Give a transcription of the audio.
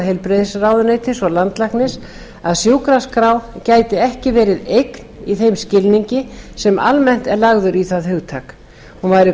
heilbrigðisráðuneytis og landlæknis að sjúkraskrá gæti ekki verið eign í þeim skilningi sem almennt er lagður í það hugtak hún væri því